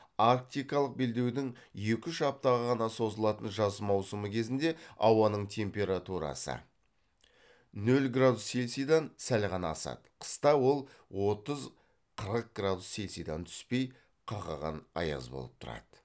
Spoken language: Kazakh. арктикалық белдеудің екі үш аптаға ғана созылатын жаз маусымы кезінде ауаның температурасы нөл градус цельсийдан сәл ғана асады қыста ол отыз қырық градус цельсийдан түспей қақаған аяз болып тұрады